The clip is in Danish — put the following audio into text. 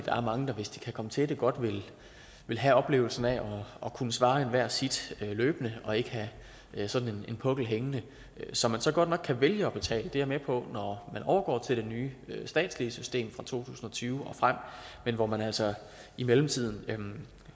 er mange der hvis de kan komme til det godt vil have oplevelsen af at kunne svare enhver sit løbende og ikke have sådan en pukkel hængende som man så godt nok kan vælge at betale det er jeg med på når man overgår til det nye statslige system fra to tusind og tyve og frem men hvor man altså i mellemtiden